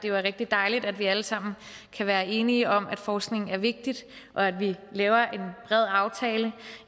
er rigtig dejligt at vi alle sammen kan være enige om at forskning er vigtigt og at vi laver